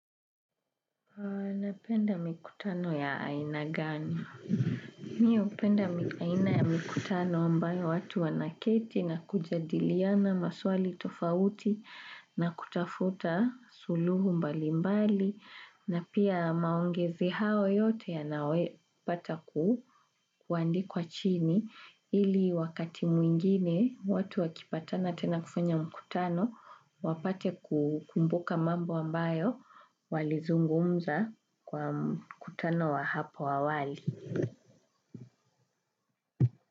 Napenda mikutano ya aina gani? Mimi hupenda aina ya mikutano ambayo watu wanaketi na kujadiliana maswali tofauti na kutafuta suluhu mbalimbali na pia maongezi hayo yote yanapata kuandikwa chini. Ili wakati mwingine watu wakipatana tena kufanya mkutano, wapate kukumbuka mambo ambayo walizungumza kwa mkutano wa hapo awali.